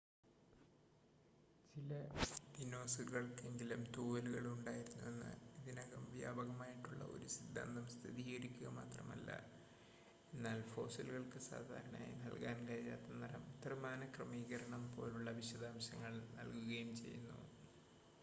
ചില ദിനോസറുകൾക്കെങ്കിലും തൂവലുകൾ ഉണ്ടായിരുന്നുവെന്ന ഇതിനകം വ്യാപകമായിട്ടുള്ള ഒരു സിദ്ധാന്തം സ്ഥിരീകരിക്കുക മാത്രമല്ല എന്നാൽ ഫോസിലുകൾക്ക് സാധാരണയായി നൽകാൻ കഴിയാത്ത നിറം ത്രിമാന ക്രമീകരണം പോലുള്ള വിശദാംശങ്ങൾ നൽകുകയും ചെയ്യുന്നു